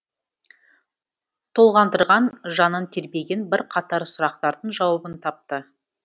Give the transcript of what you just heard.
толғандырған жанын тербеген бірқатар сұрақтардың жауабын тапты